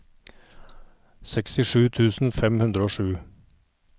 sekstisju tusen fem hundre og sju